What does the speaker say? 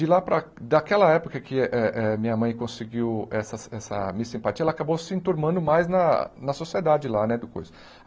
De lá para daquela época que eh eh minha mãe conseguiu essa essa miss simpatia, ela acabou se enturmando mais na na sociedade lá né depois.